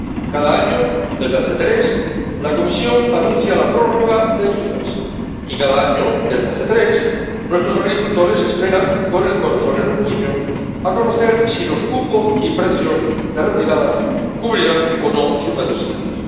Cada año, desde hace tres, la Comisión anuncia la prórroga de ayudas, y cada año, desde hace tres, nuestros agricultores esperan con el corazón en un puño a conocer si los cupos y precios de retirada cubrirán o no sus necesidades.